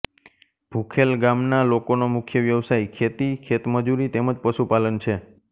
ભુખેલ ગામના લોકોનો મુખ્ય વ્યવસાય ખેતી ખેતમજૂરી તેમ જ પશુપાલન છે